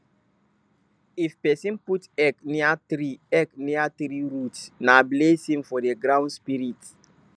if person put egg near tree egg near tree root na blessing for the ground spirit